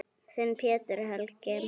Þinn, Pétur Helgi.